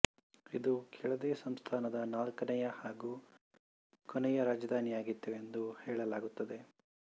ಇದು ಕೆಳದಿ ಸಂಸ್ಥಾನದ ನಾಲ್ಕನೇಯ ಹಾಗೂ ಕೊನೆಯ ರಾಜಧಾನಿಯಾಗಿತ್ತು ಎಂದು ಹೇಳಲಾಗುತ್ತದೆ